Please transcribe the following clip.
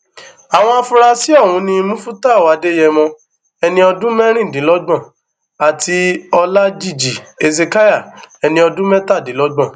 àwọn afurasí ọhún ni mufútàù adéyẹmọ ẹni ọdún mẹrìndínlọgbọn àti ọlajìji hesekiah ẹni ọdún mẹtàdínlọgbọn